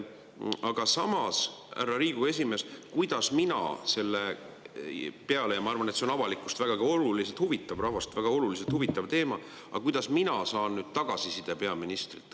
Aga samas, härra Riigikogu esimees, kuidas mina selle peale – ma arvan, et see on avalikkust vägagi huvitav, rahvast väga huvitav teema – saan nüüd tagasisidet peaministrilt?